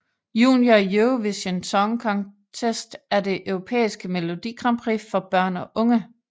Junior Eurovision Song Contest er det europæiske Melodi Grand Prix for børn og unge